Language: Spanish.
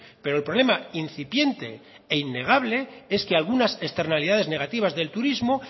pero el problema incipiente e innegable es que algunas externalidades negativas del turismo